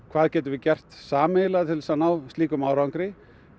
hvað getum við gert sameiginlega til að ná slíkum árangri